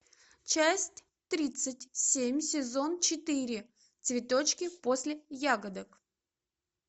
часть тридцать семь сезон четыре цветочки после ягодок